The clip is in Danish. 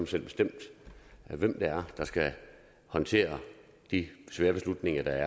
selv bestemme hvem det er der skal håndtere de svære beslutninger der